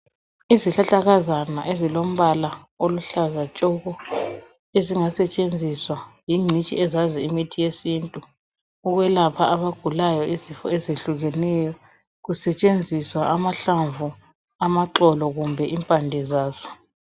Izihlahlakazana ezilombala oluhlaza tshoko, ezingasetshenziswa yingcitshi ezazi imithi yesintu ukwelapha abagulayo izifo ezihlukeneyo kusetshenziswa amahlamvu, amaxolo kumbe impande zazo.